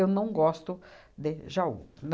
Eu não gosto de Jaú.